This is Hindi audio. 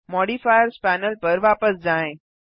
मॉडिफायर्स पैनल पर वापस जाएँ